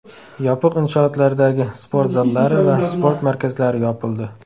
Yopiq inshootlardagi sport zallari va sport markazlari yopildi.